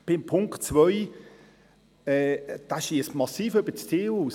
Punkt 2 schiesst massiv über das Ziel hinaus.